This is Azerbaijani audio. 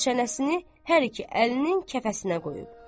Və çənəsini hər iki əlinin kəfəsinə qoyub.